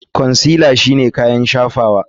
Consealer shine kayan shafawa.